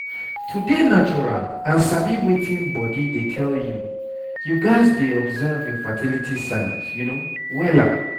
to dey natural and sabi wetin body dey tell you you gats dey observe your fertility signs wella